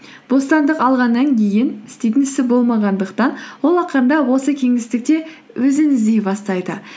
бостандық алғаннан кейін істейтін ісі болмағандықтан ол ақырындап осы кеңістікте өзін іздей бастайды